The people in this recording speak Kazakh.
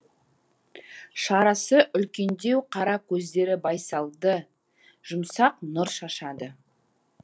шарасы үлкендеу қара көздері байсалды жұмсақ нұр шашады